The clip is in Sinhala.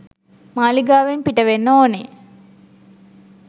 මාලිගාවෙන් පිට වෙන්න ඕනේ.